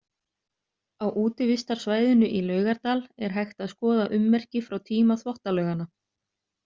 Á útivistarsvæðinu í Laugardal er hægt að skoða ummerki frá tíma Þvottalauganna.